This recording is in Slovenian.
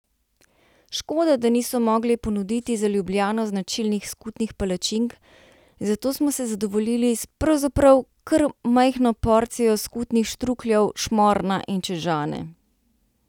Škoda, da niso mogli ponuditi za Ljubljano značilnih skutnih palačink, zato smo se zadovoljili s pravzaprav kar majhno porcijo skutnih štrukljev, šmorna in čežane.